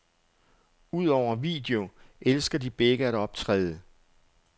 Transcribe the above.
Udover video elsker de begge at optræde.